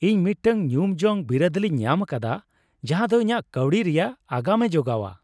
ᱤᱧ ᱢᱤᱫᱴᱟᱝ ᱧᱩᱢᱡᱚᱝ ᱵᱤᱨᱟᱹᱫᱟᱹᱞᱤᱧ ᱧᱟᱢ ᱟᱠᱟᱫᱟ ᱡᱟᱦᱟᱸᱫᱚ ᱤᱧᱟᱹᱜ ᱠᱟᱹᱣᱰᱤ ᱨᱮᱭᱟᱜ ᱟᱜᱟᱢᱮ ᱡᱚᱜᱟᱣᱟ ᱾